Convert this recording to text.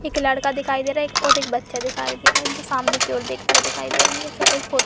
एक लड़का दिखायी दे रहा है और एक बच्चा दिखायी दे रहा है जो सामने की ओर देखते हुए दिखाई दे रहे हैं। कुछ फोटो --